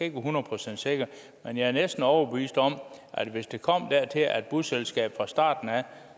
ikke hundrede procent sikker men jeg er næsten overbevist om at hvis det kom dertil at busselskabet fra starten af